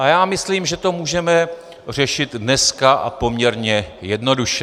A já myslím, že to můžeme řešit dneska a poměrně jednoduše.